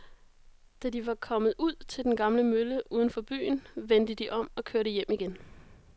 Da de var kommet ud til den gamle mølle uden for byen, vendte de om og kørte hjem igen.